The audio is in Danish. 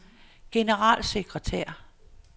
generalsekretær